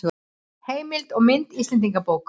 Heimild og mynd Íslendingabók.